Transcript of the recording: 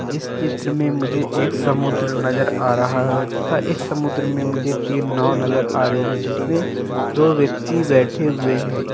इस चित्र मे मुझे एक समुद्र नजर आ रहा है तथा इस समुद्र मे मुझे तीन नाव नजर आ रही है जिसमे दो व्यक्ति बेठे हुए है।